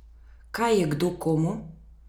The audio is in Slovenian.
Kaj je kdo komu?